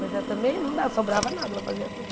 Mas ela também não dava, sobrava nada, ela fazia tudo.